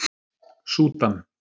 Súdan